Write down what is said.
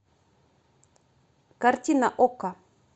картина окко